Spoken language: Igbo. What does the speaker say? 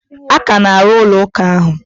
A ka na-arụ ụlọ ụka ahụ.